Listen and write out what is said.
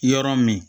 Yɔrɔ min